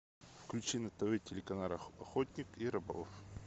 включи на тв телеканал охотник и рыболов